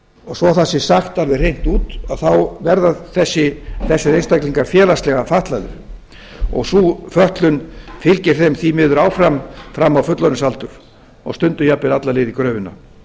og svo það sé sagt alveg hreint út þá verða þessir einstaklingar félagslega fatlaðir og sú fötlun fylgir þeim því miður áfram fram á fullorðinsaldur og stundum jafnvel alla leið í gröfina